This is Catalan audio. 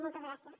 moltes gràcies